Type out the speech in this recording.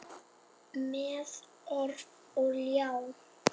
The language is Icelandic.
Með orf og ljá.